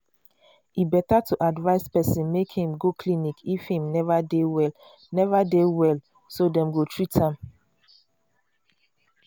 e better to advise person make im go clinic if im neva dey well neva dey well so dem go treat am